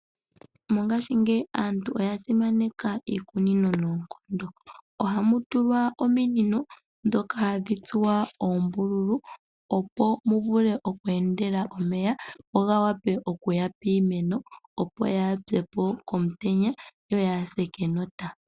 Mongashingeyi aantu oya simaneka iikunino noonkondo. Ohamu tulwa ominino dhono dhatsuwa uumbululu woku endela omeya, opo gawape okuya piimeno yaase komutenya nokenota.